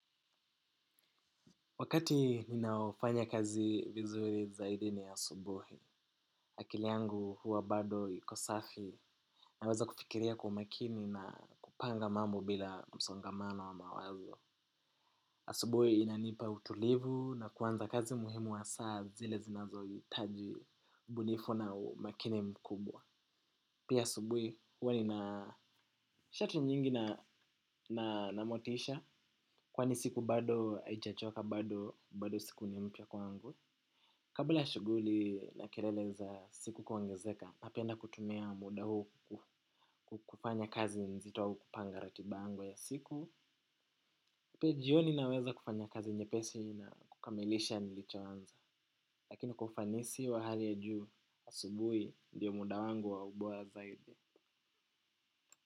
Wakati ninaofanya kazi vizuri zaidini ya subuhi, akiliyangu huwa bado iko safi naweza kufikiria kwaumakini na kupanga mambo bila msongamano wa mawazo. Asubuhi inanipa utulivu na kuanza kazi muhimu wa saa zile zinazo hitaji ubunifu na umakini mkubwa. Pia asubuhi huwa nina shatu nyingi na namotisha kwani siku bado aijachoka bado bado siku nimpya kwangu. Kabla ya shuguli na kelele za siku kuongezeka, napenda kutumia muda huu kufanya kazi nzito au kupanga ratiba yangu ya siku. Pia jioni naweza kufanya kazi nye pesi na kukamilisha nilichoanza. Lakini kwa ufanisi wa hali ya juu, asubui ndiyo muda wangu wa ubora zaidi.